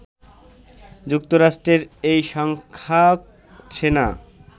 যুক্তরাষ্ট্রের এই সংখ্যক সেনা